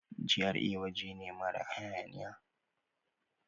GRA waje ne mara hayaniya.